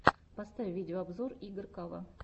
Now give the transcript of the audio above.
поставь видеообзор игоркава